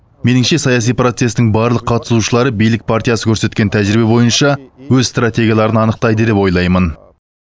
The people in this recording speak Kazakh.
меніңше саяси процестің барлық қатысушылары билік партиясы көрсеткен тәжірибе бойынша өз стратегияларын анықтайды деп ойлаймын